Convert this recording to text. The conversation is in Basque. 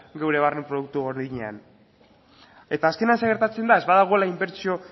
geure barne produktu gordinean eta azkenean zer gertatzen da ez badagoela inbertsio